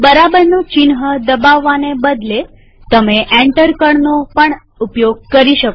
બરાબર ચિહ્ન દબાવાને બદલેતમે enter કળ પણ દબાવી શકો